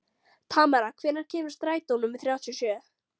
Tamara, hvenær kemur strætó númer þrjátíu og sjö?